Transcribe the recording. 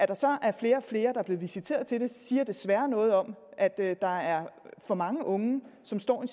der så er flere og flere der bliver visiteret til dem siger desværre noget om at at der er for mange unge som står i